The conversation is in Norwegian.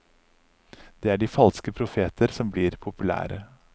Det er de falske profeter som blir populære.